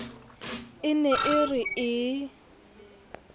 e ne e re e